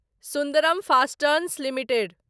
Sundaram Fasteners limited